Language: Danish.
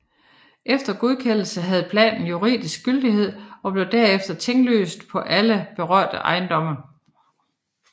Efter godkendelse havde planen juridisk gyldighed og blev derfor tinglyst på alle berørte ejendomme